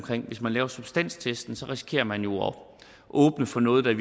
hvis man laver substanstesten risikerer man jo at åbne for noget der i